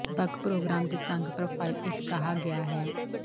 ਬਕ ਪ੍ਰੋਗਰਾਮ ਦੇ ਤੰਗ ਪ੍ਰੋਫ਼ਾਈਲ ਇਕ ਕਿਹਾ ਗਿਆ ਹੈ